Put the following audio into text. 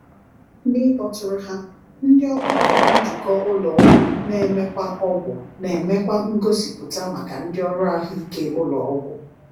"N’ịkpọtụrụ ha, Ndị Ọgbakọ Njikọ Ụlọ Ọgwụ na-emekwa Ọgwụ na-emekwa ngosipụta maka ndị ọrụ ahụike ụlọ ọgwụ."